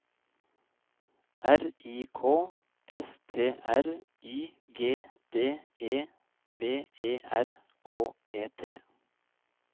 R I K S T R Y G D E V E R K E T